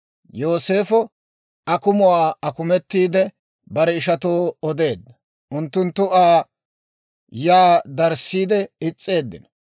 Yooseefo akumuwaa akumetiide, bare ishatoo odeedda; unttunttu Aa yaa darissiide is's'eeddino.